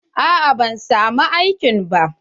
A'a ban samu aikin ba.